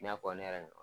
I n'a fɔ ne yɛrɛ ɲɔ